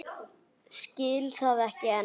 Skil það ekki enn.